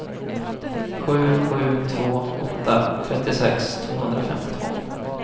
sju sju två åtta trettiosex tvåhundrafemtiotvå